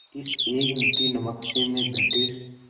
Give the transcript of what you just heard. इस एक मुट्ठी नमक से मैं ब्रिटिश